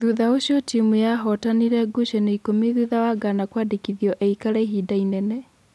Thutha ũcio timu yahotanire ngucanio ikũmi thutha wa Ngana kũandĩkithio aikare ihinda inene.